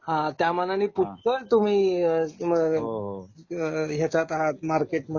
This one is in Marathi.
हां त्या मानाने पुष्कळ तुम्ही हो हो ह्याच्यात आहेत, मार्केट मध्ये